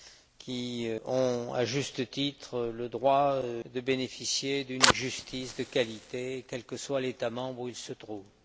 qui ont, à juste titre, le droit de bénéficier d'une justice de qualité, quel que soit l'État membre où ils se trouvent.